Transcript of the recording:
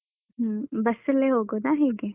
ಹ್ಮ್ ಬಸ್ಸಲ್ಲೇ ಹೋಗುದಾ ಹೇಗೆ?